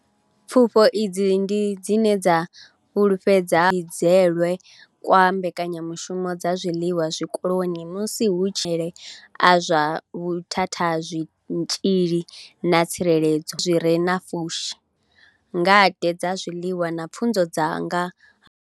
Pfufho idzi ndi dzine dza fhululedza kutshimbidzelwe kwa mbekanyamushumo dza zwiḽiwa zwikoloni musi hu tshi sedzwa maitele a zwa vhuthathazwitzhili na tsireledzo zwiḽiwa zwi re na pfushi ngade dza zwiḽiwa na pfunzo dza nga ha zwiḽiwa.